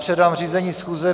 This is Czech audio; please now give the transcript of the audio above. Předám řízení schůze.